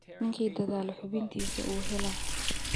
Ninki daadhala xibintisa uu helax.